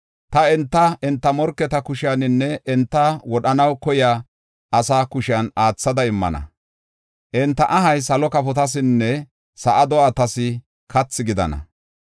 Ta enta, enta morketa kusheninne enta wodhanaw koyiya asa kushen aathada immana; enta ahay salo kafotasinne sa7a do7atas kathi gidana.